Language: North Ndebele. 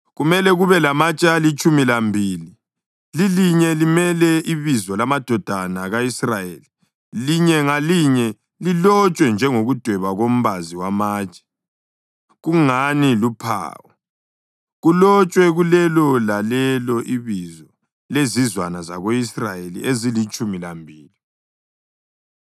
Kumele kube lamatshe alitshumi lambili, lilinye limele ibizo lamadodana ka-Israyeli, linye ngalinye lilotshwe njengokudweba kombazi wamatshe, kungani luphawu, kulotshwe kulelo lalelo ibizo lezizwana zako-Israyeli ezilitshumi lambili.